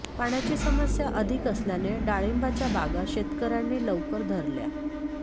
पाण्याची समस्या अधिक असल्याने डाळिंबाच्या बागा शेतकऱयांनी लवकर धरल्या